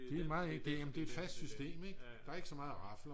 det er meget enkelt jamen det er fast system der er ikke så meget at rafle om